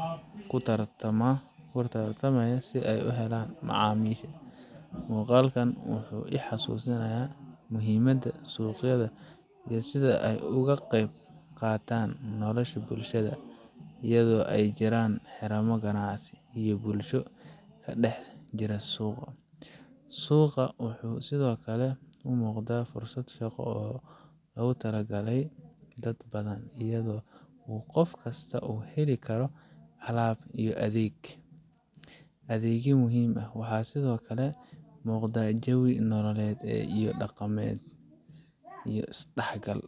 oo laga keeno beeraha waxa sidkale muqda jawi nololed ,daqamed iyo is dah gal.